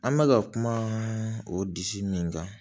An bɛ ka kuma o disi min kan